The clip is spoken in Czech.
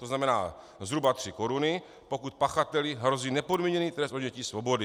To znamená zhruba tři koruny, pokud pachateli hrozí nepodmíněný trest odnětí svobody.